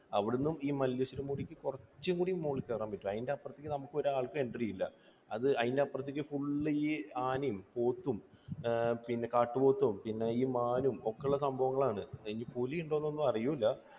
അവിടുന്ന് ഈ മല്ലേശ്വരം മുടിക്ക് കുറച്ചുകൂടി മുകളിൽ കയറാൻ പറ്റും. അതിൻറെ അപ്പുറത്തേക്ക് നമുക്ക് ഒരാൾക്കും entry ഇല്ല. അതിൻറെ അപ്പുറത്തേക്ക് full ഈ ആനയും പോത്തും അഹ് പിന്നെ കാട്ടുപോത്തും പിന്നെ ഈ മാനും ഒക്കെയുള്ള സംഭവങ്ങളാണ്. ഇനി പുലി ഉണ്ടോ എന്നൊന്നും അറിയില്ല.